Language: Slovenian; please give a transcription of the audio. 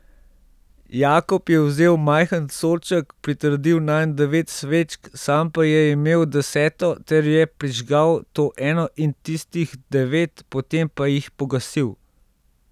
Jakob je vzel majhen sodček, pritrdil nanj devet svečk, sam pa je imel deseto ter je prižgal to eno in tistih devet, potem pa jih pogasil.